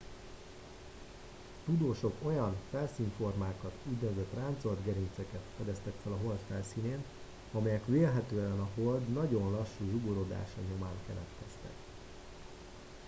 a tudósok olyan felszínformákat úgynevezett ráncolt gerinceket fedeztek fel a hold felszínén amelyek vélhetően a hold nagyon lassú zsugorodása nyomán keletkeztek